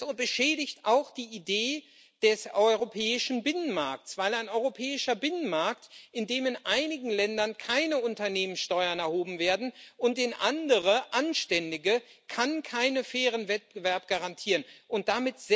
Und es beschädigt auch die Idee des europäischen Binnenmarkts, weil ein europäischer Binnenmarkt, in dem in einigen Ländern keine Unternehmenssteuern erhoben werden und in anderen anständige, keinen fairen Wettbewerb garantieren kann.